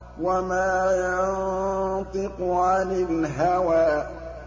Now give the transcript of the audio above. وَمَا يَنطِقُ عَنِ الْهَوَىٰ